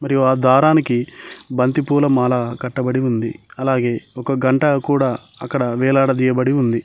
మరియు ఆ దారానికి బంతిపూల మాల కట్టబడి ఉంది అలాగే ఒక గంట కూడా అక్కడ వేలాడదీయబడి ఉంది.